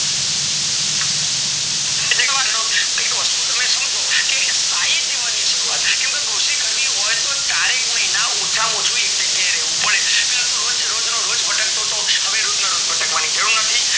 એક વસ્તુ તમે સમજો કે સ્થયીઇ જીવન ની શરૂવાત કેમ કે કૃષિ કરવી હોય તો ચારેક મહિના એક જગ્યાએ રેવું પડે પેલા તો રોજ રોજનું ભટકતો હતો હવે રોજ ના રોજ ભટકવાની જરૂર નથી